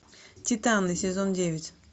титаны сезон девять